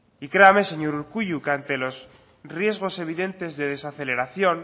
y créame señor urkullu que ante los riesgos evidentes de desaceleración